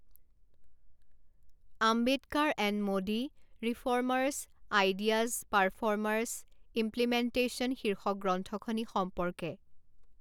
Ambedkar and Modi reformers ideas performers implementation শীৰ্ষক গ্ৰন্থখনি সম্পৰ্কে